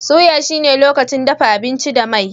Soya shi ne lokacin dafa abinci da mai.